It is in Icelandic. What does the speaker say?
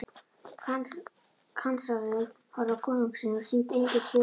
Kanslarinn horfði á konung sinn og sýndi engin svipbrigði.